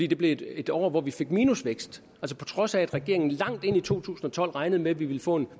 det blev et et år hvor vi fik minusvækst på trods af at regeringen langt ind i to tusind og tolv regnede med at vi ville få en